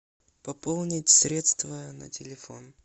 пополнить средства на телефон